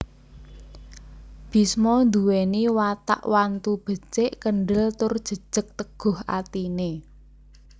Bisma nduwèni watak wantu becik kendhel tur jejeg teguh atine